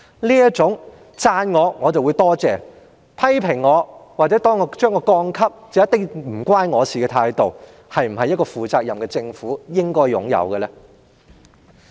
這種別人讚賞他便說多謝，但被批評或被調低評級便必然與他無關的態度，是否一個負責任的政府應有的態度？